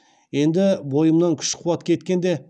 енді бойымнан күш қуат кеткенде